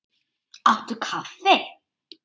Áttu kaffi?